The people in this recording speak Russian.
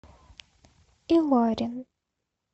илорин